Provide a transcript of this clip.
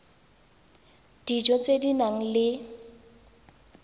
dijo tse di nang le